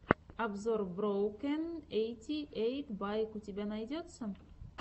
обзор броукэн эйти эйт байк у тебя найдется